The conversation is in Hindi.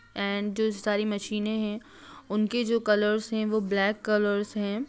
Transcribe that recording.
एंड जो सारी मशीनें है उनके जो कलर्स है वो ब्लैक कलर्स है।